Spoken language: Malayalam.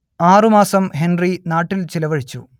ആറുമാസം ഹെൻറി നാട്ടിൽ ചിലവഴിച്ചു